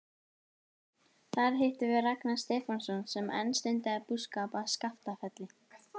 Þar hittum við Ragnar Stefánsson sem enn stundaði búskap á Skaftafelli.